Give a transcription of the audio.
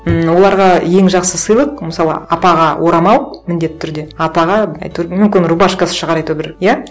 ммм оларға ең жақсы сыйлық мысалы апаға орамал міндетті түрде атаға әйтеуір мүмкін рубашкасы шығар әйтеуір бір иә